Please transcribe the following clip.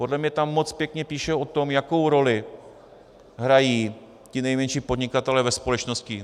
Podle mě tam moc pěkně píšou o tom, jakou roli hrají ti nejmenší podnikatelé ve společnosti.